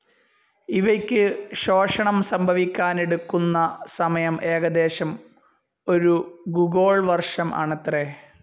ഇവയ്ക്കു ശോഷണം സംഭവിക്കാനെടുക്കുന്ന സമയം ഏകദേശം ഒരു ഗുഗോൾ വർഷം ആണത്രേ!